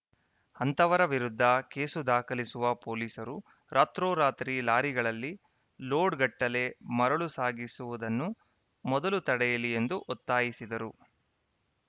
ಅಂತಹವರ ವಿರುದ್ಧ ಕೇಸು ದಾಖಲಿಸುವ ಪೊಲೀಸರು ರಾತ್ರೋರಾತ್ರಿ ಲಾರಿಗಳಲ್ಲಿ ಲೋಡ್‌ಗಟ್ಟಲೆ ಮರಳು ಸಾಗಿಸುವುದನ್ನು ಮೊದಲು ತಡೆಯಲಿ ಎಂದು ಒತ್ತಾಯಿಸಿದರು